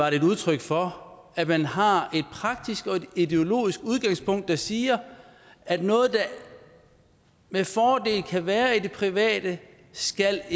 er et udtryk for at man har et praktisk og et ideologisk udgangspunkt der siger at noget der med fordel kan være i det private ikke skal